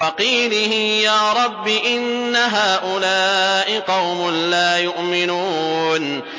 وَقِيلِهِ يَا رَبِّ إِنَّ هَٰؤُلَاءِ قَوْمٌ لَّا يُؤْمِنُونَ